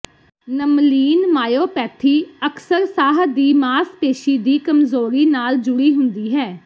nemaline myopathy ਅਕਸਰ ਸਾਹ ਦੀ ਮਾਸਪੇਸ਼ੀ ਦੀ ਕਮਜ਼ੋਰੀ ਨਾਲ ਜੁੜੀ ਹੁੰਦੀ ਹੈ